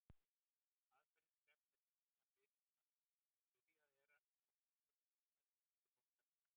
Aðferðin krefst þess einnig að byrjað er með ágiskun á staðsetningu rótarinnar.